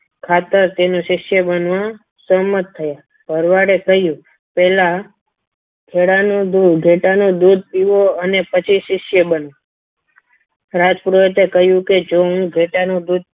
ખાતર તેનો શિષ્ય બનવા સહમત થયા ભરવાડે કહ્યું પહેલા ઘેટાનું દૂધ પીવો અને પછી શિષ્ય બનો રાજ પુરોહિતે કહ્યું કે જો હું ઘેટાનું દૂધ